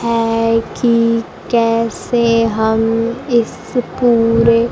है कि कैसे हम इस पूरे--